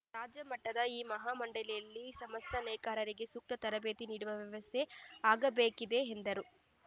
ರಾಜ್ಯ ಮಟ್ಟದ ಈ ಮಹಾಮಂಡಳಿಯಲ್ಲಿ ಸಮಸ್ತ ನೇಕಾರರಿಗೆ ಸೂಕ್ತ ತರಬೇತಿ ನೀಡುವ ವ್ಯವಸ್ಥೆ ಆಗಬೇಕಿದೆ ಎಂದರು